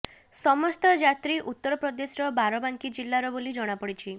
ସମସ୍ତ ଯାତ୍ରୀ ଉତ୍ତର ପ୍ରଦେଶର ବାରାବାଙ୍କୀ ଜିଲ୍ଲାର ବୋଲି ଜଣାପଡ଼ିଛି